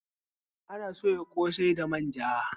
Ana soya ƙosai da manja